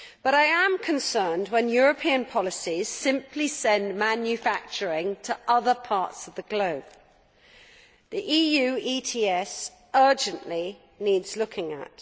I am concerned when European policies simply send manufacturing to other parts of the globe, and the EU's ETS urgently needs looking at.